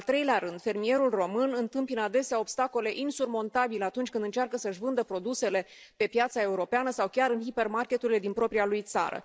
În al treilea rând, fermierul român întâmpină adesea obstacole insurmontabile atunci când încearcă să își vândă produsele pe piața europeană sau chiar în hipermarketurile din propria lui țară.